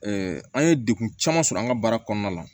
an ye degun caman sɔrɔ an ka baara kɔnɔna la